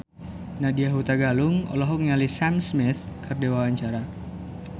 Nadya Hutagalung olohok ningali Sam Smith keur diwawancara